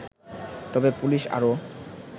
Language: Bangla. তবে পুলিশ আরও